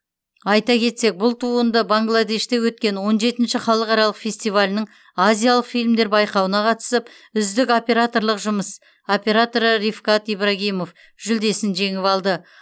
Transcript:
айта кетсек бұл туынды бангладеште өткен он жетінші халықаралық фестивалінің азиялық фильмдер байқауына қатысып үздік операторлық жұмыс операторы ривкат ибрагимов жүлдесін жеңіп алды